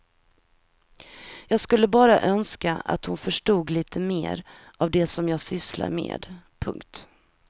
Jag skulle bara önska att hon förstod lite mer av det som jag sysslar med. punkt